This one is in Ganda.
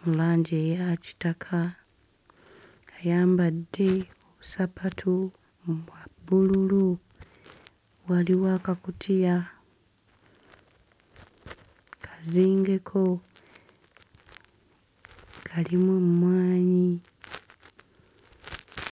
mu langi eya kitaka ayambadde obusapatu obwa bbululu waliwo akakutiya kazingeko kalimu emmwanyi.